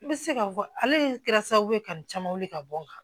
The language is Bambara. I bɛ se ka fɔ ale de kɛra sababu ye ka nin caman weele ka bɔ n kan